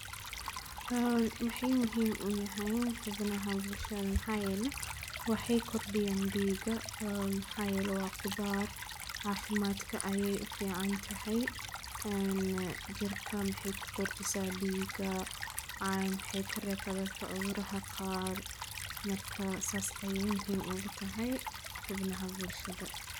Maxay muhiim uyahaan hubnaha bulshada maxaayele waxey kordiyaan diiga maxaa yele waa qudhaar caafimadka ayeey ufiicantahy jirka maxey kukordisaa diiga maxey kareebta dadka cudhuraha qaar marka saas yey muhiim ugutahy xubnaha bulshada.